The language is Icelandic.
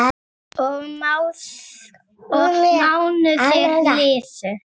Og mánuðir liðu.